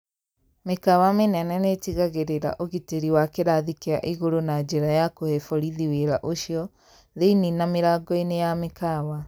Mĩkawa mĩnene nĩtigagĩrĩra ũgitĩri wa kĩrathi kĩa igũrũ na njĩra ya kũhe borithi wĩra ũcio, thĩinĩ na mĩlangoinĩ ya mĩkawa.